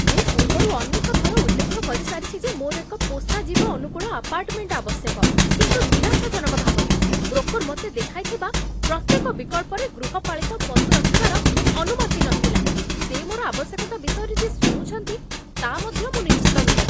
ମୁଁ ପୂର୍ବରୁ ଅନେକ ଥର ଉଲ୍ଲେଖ କରିସାରିଛି ଯେ ମୋର ଏକ ପୋଷାଜୀବ ଅନୁକୂଳ ଆପାର୍ଟମେଣ୍ଟ ଆବଶ୍ୟକ। କିନ୍ତୁ ନିରାଶାଜନକ ଭାବରେ, ବ୍ରୋକର୍ ମୋତେ ଦେଖାଇଥିବା ପ୍ରତ୍ୟେକ ବିକଳ୍ପରେ ଗୃହପାଳିତ ପଶୁ ରଖିବାର ଅନୁମତି ନଥିଲା ସେ ମୋର ଆବଶ୍ୟକତା ବିଷୟରେ ଯେ ଶୁଣୁଛନ୍ତି, ତା ମଧ୍ୟ ମୁଁ ନିଶ୍ଚିତ ନୁହେଁ।